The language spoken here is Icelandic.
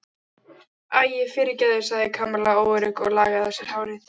Æi, fyrirgefðu sagði Kamilla óörugg og lagaði á sér hárið.